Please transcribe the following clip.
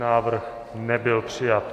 Návrh nebyl přijat.